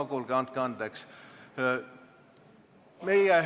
No kuulge, andke andeks!